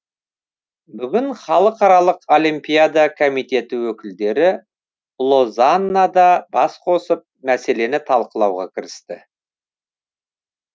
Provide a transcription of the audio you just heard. бүгін халықаралық олимпиада комитеті өкілдері лозаннада бас қосып мәселені талқылауға кірісті